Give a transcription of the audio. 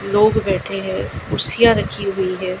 लोग बैठे हैं कुर्सियाँ रखी हुवी हैं।